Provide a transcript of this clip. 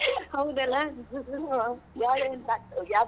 ಹೌದಲ್ಲಾ .